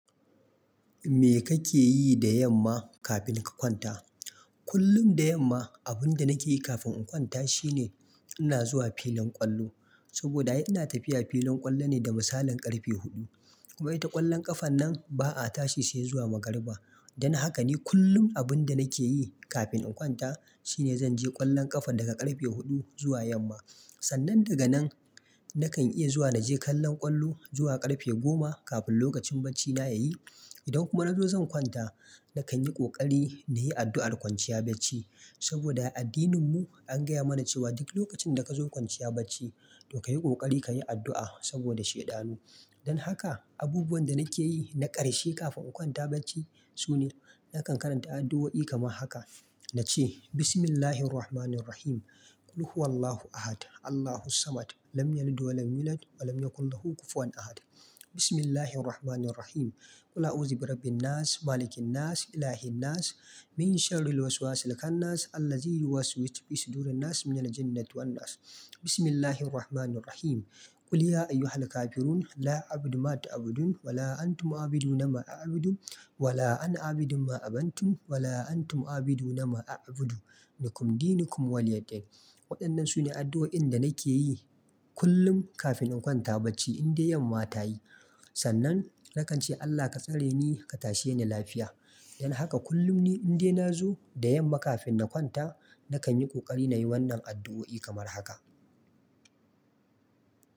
Me kake yi da yamma kafin ka kwanta? Kullum da yamma abun da nake yi kafin in kwanta shine ina zuwa filin ƙwallo. Saboda ina tafiya filin ƙwallo ne da misalin ƙarfe huɗu. Kuma ita ƙwallon ƙafan nan ba a tashi sai zuwa magariba. Dan haka ne kullum abun da nake yi kafin in kwanta shine zan je ƙwallon ƙafa daga ƙarfe huɗu zuwa yamma. Sannan daga nan nakan iya zuwa naje kallon ƙwallo zuwa ƙarfe goma kafin lokacin bacina ya yi. Idan kuma na zo zan kwanta nakan yi ƙoƙari na yi addu'ar kwanciya bacci. Saboda a addinin mu an gaya mana cewa duk lokacin da ka zo kwanciya bacci to ka yi ƙoƙari ka yi addu'a saboda sheɗanu. Dan haka abubuwan da nake yi na ƙarshe kafin in kwanta bacci sune nakan karanta addu'o'i kamar haka. Nace Bismillahirrahmanirrahim. Qul huwallahu ahad. Allahu samad. Lam yalid wa lam yulad. Wa lam yakulahu kufuwan ahad. Bismillahirrahmanirrahim. Qul a'uzu birabbinnas. Malikin nas. Ilahinnas. Min sharril waswasil khannas. Allazi yuwas wisu fisudurin nas. Min janati wannas. Bismillahirrahmanirrahim. Qul ya ayyuhal kafirun. La a'budu ma ta'budun. Wa la antum 'abiduna ma a'budu. Wa la ana abidu ma abantum. Wa la antum abidu na ma a'budu. Likum dinukum wa liya din. Waɗannan su ne addu'o'in da nake yi kullum kafin in kwanta bacci in dai yamma ta yi. Sannan nakan ce Allah ka tsare ni ka tashe ni lafiya. Dan haka kullum ni in dai na zo da yamma kafin na kwanta nakan yi ƙoƙari na yi wannan addu'o'i kamar haka.